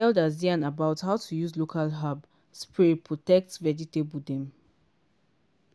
di elders yarn about how to use local herb spray protect vegetable dem.